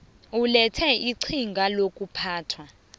ulethe iqhinga lokuphathwa